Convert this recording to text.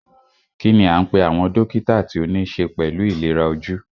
Kínní a ń pé àwọn dókítà tí o níṣe pẹlú ìlera ojú?